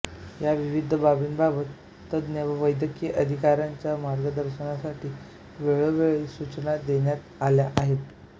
या विविध बाबींबाबत तज्ञ व वैद्यकीय अधिकायांच्या मार्गदर्शनासाठी वेळोवेळी सूचना देण्यात आल्या आहेत